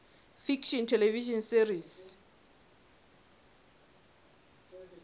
fiction television series